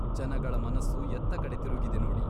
ಜನಗಳ ಮನಸ್ಸು ಎತ್ತಕಡೆ ತಿರುಗಿದೆ ನೋಡಿ.